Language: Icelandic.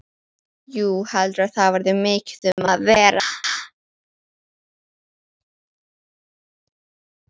Jú, heldurðu að það verði mikið um að vera?